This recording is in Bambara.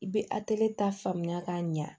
I bɛ atelita faamuya k'a ɲa